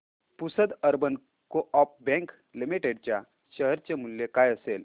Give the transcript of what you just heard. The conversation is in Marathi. Pusad urban coop bank limited च्या शेअर चे मूल्य काय असेल